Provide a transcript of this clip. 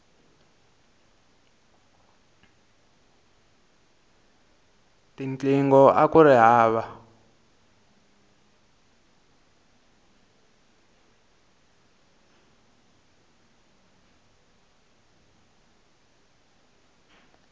tinqingho akuri hava